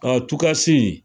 Katukasi